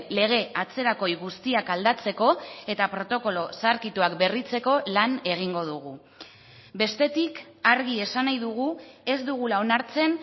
lege atzerakoi guztiak aldatzeko eta protokolo zaharkituak berritzeko lan egingo dugu bestetik argi esan nahi dugu ez dugula onartzen